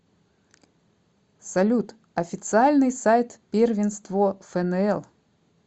салют официальный сайт первенство фнл